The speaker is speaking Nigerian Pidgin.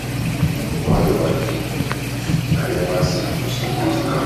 How your wife take do? I never see her for some days now.